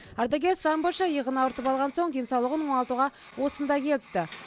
ардагер самбошы иығын ауыртып алған соң денсаулығын оңалтуға осында келіпті